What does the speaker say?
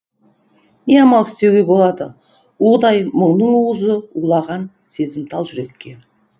не амал істеуге болады удай мұңның уызы улаған сезімтал жүрекке